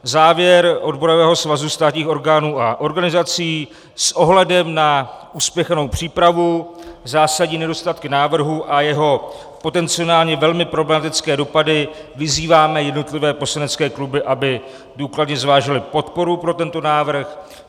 Závěr Odborového svazu státních orgánů a organizací: "S ohledem na uspěchanou přípravu, zásadní nedostatky návrhu a jeho potenciálně velmi problematické dopady vyzýváme jednotlivé poslanecké kluby, aby důkladně zvážily podporu pro tento návrh."